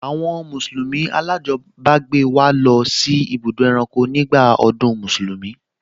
Àwọn mùsùlùmí alájọbágbé wa lọ sí ibùdó ẹranko nígbà ọdún Mùsùlùmí